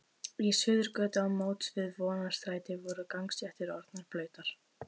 Í Suðurgötu á móts við Vonarstræti voru gangstéttir orðnar blautar.